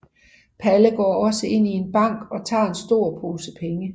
Palle går så ind i en bank og tager en stor pose penge